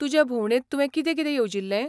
तुजे भोवंडेंत तुवें कितें कितें येवजिल्लें ?